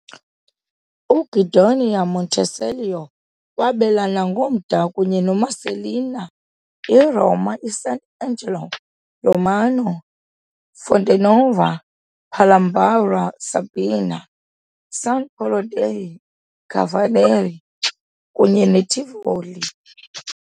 UGuidonia Montecelio wabelana ngomda kunye noMarcellina, iRoma, Sant'Angelo Romano, Fonte Nuova, Palombara Sabina, San Polo dei Cavalieri, kunye neTivoli .